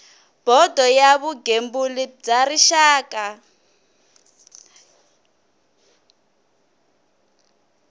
bodo ya vugembuli bya rixaka